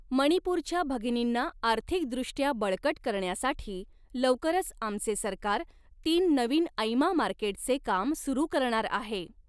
मणिपूरच्या भगिनींना आर्थिकदृष्ट्या बळकट करण्यासाठी लवकरच आमचे सरकार तीन नवीन ऐमा मार्केटचे काम सुरू करणार आहे.